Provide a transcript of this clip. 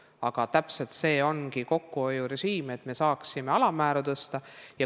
Aga täpselt selline ongi kokkuhoiurežiim, et saaksime alammäära tõsta.